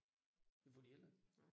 Det får de heller